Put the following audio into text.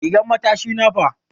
Rigan matashi na fa?